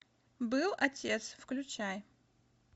был отец включай